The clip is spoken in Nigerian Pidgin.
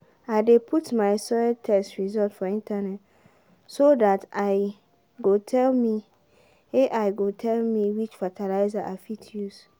i dey put my soil test results for internet so dat ai go tell me which fertilizer i fit use